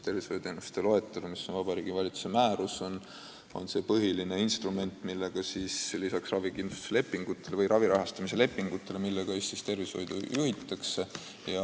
Tervishoiuteenuste loetelu, mis on Vabariigi Valitsuse määrus, on see põhiline instrument, millega lisaks ravi rahastamise lepingutele tervishoidu juhitakse.